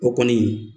O kɔni